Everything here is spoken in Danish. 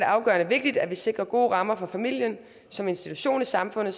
afgørende vigtigt at vi sikrer gode rammer for familien som institution i samfundet